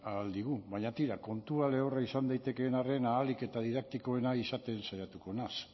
ahal digu baina tira kontua lehorra izan daitekeen arren ahalik eta didaktikoena izaten saiatuko naiz